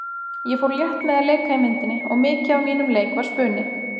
Ég fór létt með að leika í myndinni og mikið af mínum leik var spuni.